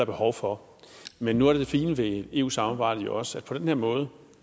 behov for men nu er det fine ved eu samarbejdet jo også at på den her måde